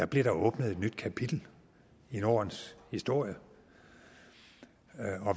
blev der åbnet et nyt kapitel i nordens historie